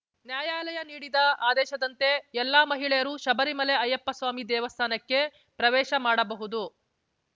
ನ್ಯಾಯಾಲಯ ನೀಡಿದ ಆದೇಶದಂತೆ ಎಲ್ಲ ಮಹಿಳೆಯರೂ ಶಬರಿಮಲೆ ಅಯ್ಯಪ್ಪಸ್ವಾಮಿ ದೇವಸ್ಥಾನಕ್ಕೆ ಪ್ರವೇಶ ಮಾಡಬಹುದು